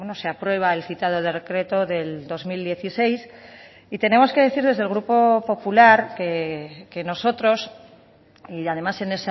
se aprueba el citado decreto del dos mil dieciséis y tenemos que decir desde el grupo popular que nosotros y además en